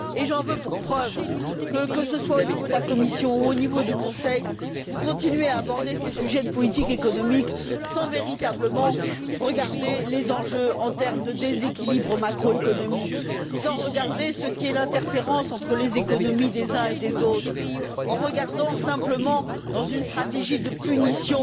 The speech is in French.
Et j'en veux pour preuve que, que ce soit au niveau de la Commission ou du Conseil, vous continuez à aborder ces sujets de politique économique sans véritablement regarder les enjeux en termes de déséquilibre macroéconomique, ni l'interférence entre les économies des uns et des autres, en restant simplement dans une stratégie de punition